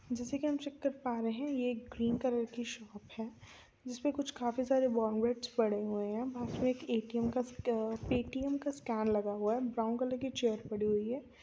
जैसा कि हम चेक कर पा रहे है ये एक ग्रीन कलर कि शॉप है जिसमे कुछ काफी सारे पड़े हुए है पास मे एक ए_टी_एम का स्ट पे_टी_एम का स्कैन लगा हुआ है ब्राउन कलर कि चैयर पड़ी हुई है।